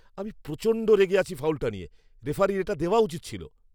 আমি প্রচণ্ড রেগে আছি ফাউলটা নিয়ে! রেফারির এটা দেওয়া উচিৎ ছিল।